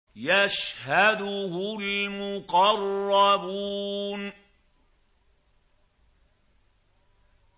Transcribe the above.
يَشْهَدُهُ الْمُقَرَّبُونَ